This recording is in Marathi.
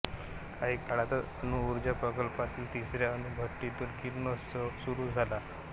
काही काळातच अणुऊर्जा प्रकल्पातील तिसऱ्या अणुभट्टीतून किरणोत्सर्ग सुरू झाला